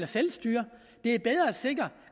selvstyre det er bedre at sikre